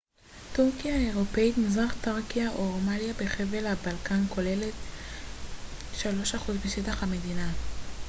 טורקיה האירופית מזרח תראקיה או רומליה בחבל הבלקן כוללת 3% משטח המדינה